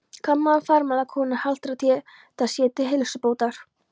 Gamlar og farlama konur haltra þetta sér til heilsubótar.